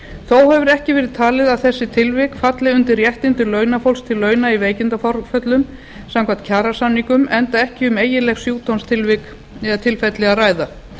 þó hefur ekki verið talið að þessi tilvik falli undir réttindi launafólks til launa í veikindaforföllum samkvæmt kjarasamningum enda ekki um eiginleg sjúkdómstilvik eða tilfelli að ræða